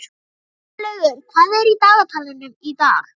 Grímlaugur, hvað er í dagatalinu í dag?